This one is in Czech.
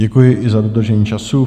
Děkuji i za dodržení času.